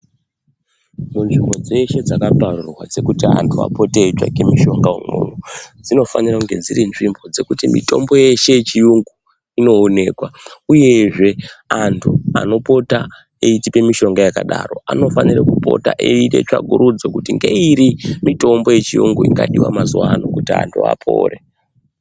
Munzvimbo dzeshe dzakaparurwa dzekuti antu apote eitsvaga mushonga imwomwo. Dzinofanira kunge dzirinzvimbo dzekuti mitombo yeshe yechiyungu inoonekwa, uyezve antu anopota eitipe mishonga yakadaro anofane kupota eiite tsvakurudzo. Kuti ngekuti ngeiri mitombo yechiyungu ingadiva mazuva ano kuti antu vapore.